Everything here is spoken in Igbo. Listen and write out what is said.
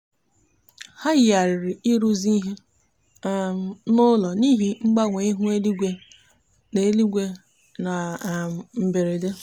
ha yigharịrị ịrụzi ihe um n'ụlọ n'ihi mgbanwe ihu eluigwe na eluigwe na um mberede.